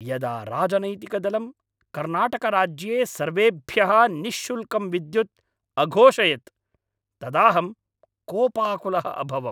यदा राजनैतिकदलं कर्णाटकराज्ये सर्वेभ्यः निःशुल्कं विद्युत् अघोषयत् तदाहं कोपाकुलः अभवम्।